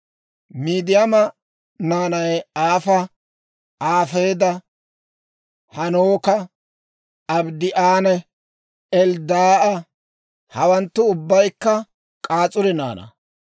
Midiyaama naanay Eefa, Eefeera, Hanooka, Abiidaa'anne Elddaa'a. Hawanttu ubbaykka K'as'uri naanaa.